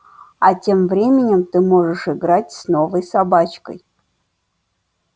а тем временем ты можешь играть с новой собачкой